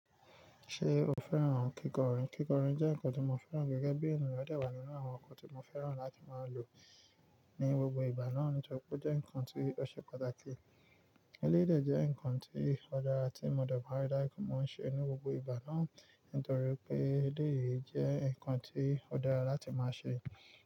Ṣé o fẹ́ràn kíkọrin? Kíkọrin jẹ́ nǹkan tó mo fẹ́ràn gẹ́gẹ́ bí ènìyàn, ó dà wá nínú àwọn nǹkan tó mo fẹ́ràn láti máa lò ní gbogbo ìgbà náà nítorí pé ó jẹ́ nǹkan tó ṣe pàtàkì. Elédè jẹ́ nǹkan tí ó dára tí mo dé ma n rí dájú pé mo n ṣe ní gbogbo ìgbà náà nítorí pé elé yìí jẹ́ nǹkan tí ó dára láti máa ṣe.